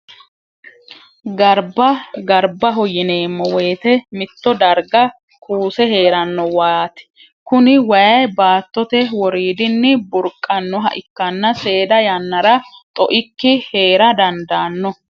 Gariba, garibaho yineemo woyite mito dariga kuuse heerano wayaati kuni wayi baatote woridini burqanoha ikkanna seeda yannara xo'ikki heerra dandaano